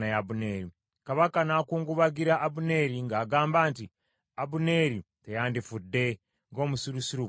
Kabaka n’akungubagira Abuneeri, ng’agamba nti, “Abuneeri teyandifudde ng’omusirusiru bw’afa.